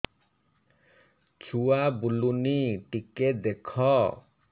ଛୁଆ ବୁଲୁନି ଟିକେ ଦେଖ